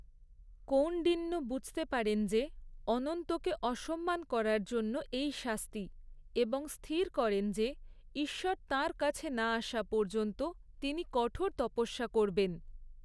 কৌন্ডিন্য বুঝতে পারেন যে, অনন্তকে অসম্মান করার জন্য এই শাস্তি; এবং স্থির করেন যে ঈশ্বর তাঁর কাছে না আসা পর্যন্ত তিনি কঠোর তপস্যা করবেন।